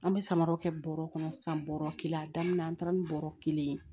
An bɛ samaraw kɛ bɔrɔ kɔnɔ sisan bɔrɔ kelen a daminɛ na an taara ni bɔrɔ kelen ye